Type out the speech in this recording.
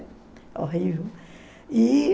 Horrível. E...